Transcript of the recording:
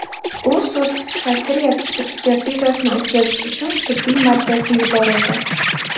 U sud-psixiatriya ekspertizasini o‘tkazish uchun tibbiy markazga yuborildi.